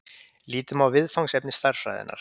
Lítum á viðfangsefni stærðfræðinnar.